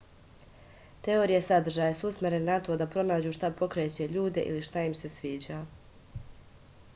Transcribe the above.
teorije sadržaja su usmerene na to da pronađu šta pokreće ljude ili šta im se sviđa